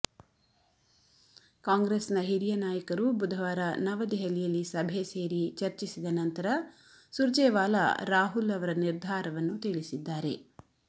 ಕಾಂಗ್ರೆಸ್ನ ಹಿರಿಯ ನಾಯಕರು ಬುಧವಾರ ನವದೆಹಲಿಯಲ್ಲಿ ಸಭೆ ಸೇರಿ ಚರ್ಚಿಸಿದ ನಂತರ ಸುರ್ಜೇವಾಲಾ ರಾಹುಲ್ ಅವರ ನಿರ್ಧಾರವನ್ನು ತಿಳಿಸಿದ್ದಾರೆ